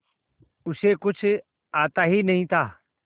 उसे कुछ आता ही नहीं था